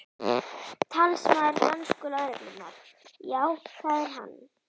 Talsmaður dönsku lögreglunnar: Já, það er hann?